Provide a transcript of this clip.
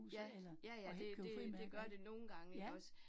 Ja, ja ja, det det det gør det nogle gange ikke også